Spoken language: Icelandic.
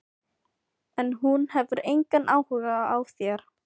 En hún hefur engan áhuga á þér.